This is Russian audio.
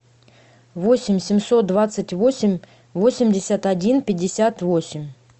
восемь семьсот двадцать восемь восемьдесят один пятьдесят восемь